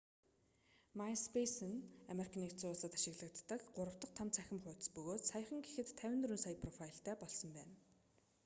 маиспейсе нь ану-д ашиглагддаг 3 дахь том цахим хуудас бөгөөд саяхан гэхэд 54 сая профайлтай болсон байна